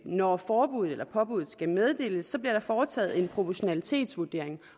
når forbuddet eller påbuddet skal meddeles bliver foretaget en proportionalitetsvurdering